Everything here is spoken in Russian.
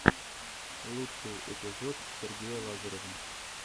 лучший эпизод сергея лазарева